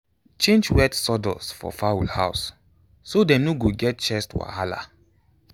change wet sawdust for fowl house so dem no go get chest wahala.